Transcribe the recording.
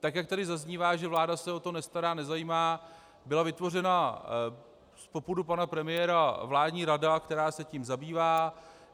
Tak jak tady zaznívá, že vláda se o to nestará, nezajímá, byla vytvořena z popudu pana premiéra vládní rada, která se tím zabývá.